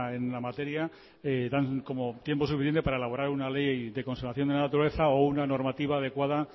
en la materia dan como tiempo para suficiente para elaborar una ley de conservación de la naturaleza o una normativa adecuada